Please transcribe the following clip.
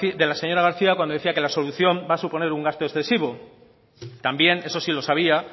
de la señora garcía cuando decía que la solución va a suponer un gasto excesivo también eso sí lo sabía